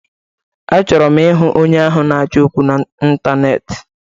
Achọrọ m ịhụ onye ahụ na-achọ okwu na Ịntaneetị!